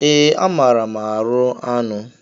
Ee, amaara m arụ anụ.